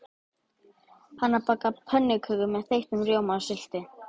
Hanna bakar pönnukökur með þeyttum rjóma og sultu.